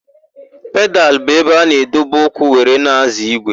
Pedalụ bụ ebe a na-edobe ụkwụ were na-ázọ̀ ígwè.